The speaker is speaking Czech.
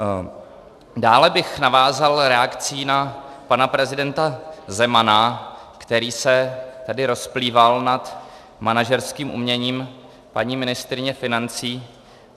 Dále bych navázal reakcí na pana prezidenta Zemana, který se tady rozplýval nad manažerským uměním paní ministryně financí.